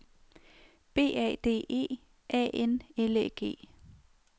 B A D E A N L Æ G